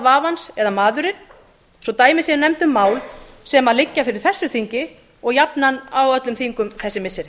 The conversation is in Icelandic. vafans eða maðurinn svo dæmi séu nefnd um mál sem liggja fyrir þessu þingi og jafnan á öllum þingum þessi missiri